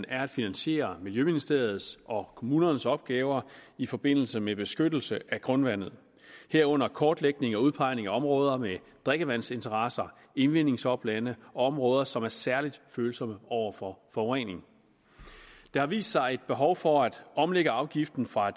er at finansiere miljøministeriets og kommunernes opgaver i forbindelse med beskyttelse af grundvandet herunder kortlægning og udpegning af områder med drikkevandsinteresser indvindingsoplande og områder som er særlig følsomme over for forurening der har vist sig et behov for at omlægge afgiften fra